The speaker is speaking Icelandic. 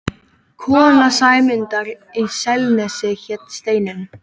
Kona Sæmundar í Selnesi hét Steinunn.